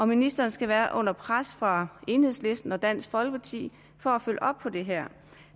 ministeren skal være under pres fra enhedslisten og dansk folkeparti for at følge op på det her